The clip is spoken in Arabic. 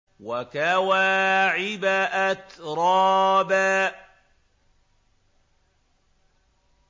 وَكَوَاعِبَ أَتْرَابًا